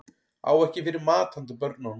Á ekki fyrir mat handa börnunum